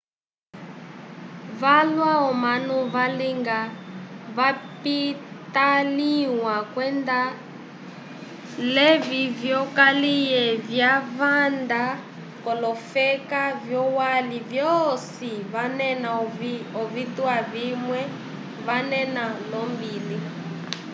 valwa omanu valinga vapitaliwa kwenda levi vyokaliye vyava vanda kolofeka vyolwali vyosi vanena ovitwa vimwe vanena lombili